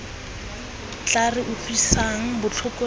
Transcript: tla re utlwisang botlhoko re